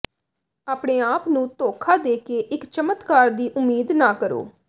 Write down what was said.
ਆਪਣੇ ਆਪ ਨੂੰ ਧੋਖਾ ਦੇ ਕੇ ਇੱਕ ਚਮਤਕਾਰ ਦੀ ਉਮੀਦ ਨਾ ਕਰੋ